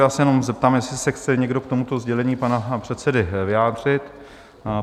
Já se jenom zeptám, jestli se chce někdo k tomuto sdělení pana předsedy vyjádřit?